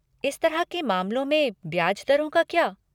इस तरह के मामलों में ब्याज दरों का क्या?